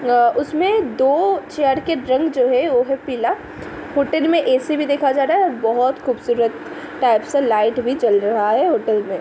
अ- उसमें दो चेयर के रंग जो है वो है पीला। फुटेज में एसी भी देखा जा रहा बहुत खूबसूरत टाइप सा लाइट भी जल रहा है होटल में --